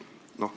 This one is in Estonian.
Null.